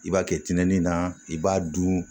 I b'a kɛ tɛnɛnin na i b'a dun